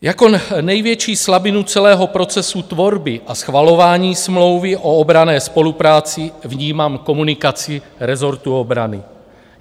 Jako největší slabinu celého procesu tvorby a schvalování smlouvy o obranné spolupráci vnímám komunikaci rezortu obrany.